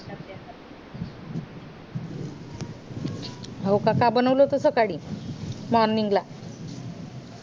हो का काय बनवलं होत सकाळी morning ला